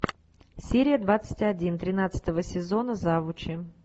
серия двадцать один тринадцатого сезона завучи